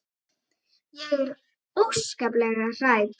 Ég er óskaplega hrædd.